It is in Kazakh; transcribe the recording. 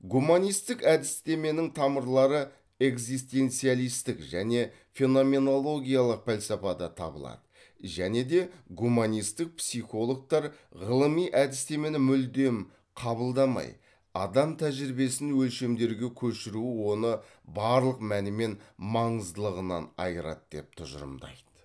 гуманисттік әдістеменің тамырлары экзистенциалисттік және феноменологиялық пәлсапада табылады және де гуманисттік психологтар ғылыми әдістемені мүлдем қабылдамай адам тәжірибесін өлшемдерге көшіру оны барлық мәні мен маңыздылығынан айырады деп тұжырымдайды